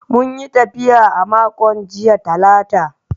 Mun yi tafiya a makon jiya Talata.